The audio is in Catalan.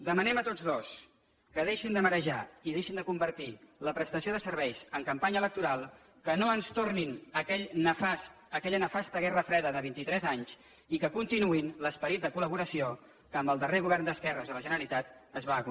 demanem a tots dos que deixin de marejar i deixin de convertir la prestació de serveis en campanya electoral que no ens tornin a aquella nefasta guerra freda de vint i tres anys i que continuïn l’esperit de collaboració que amb el darrer govern d’esquerres a la generalitat es va aconseguir